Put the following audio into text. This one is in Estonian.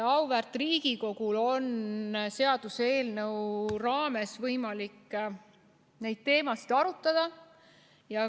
Auväärt Riigikogul on seaduseelnõu raames võimalik neid teemasid arutada.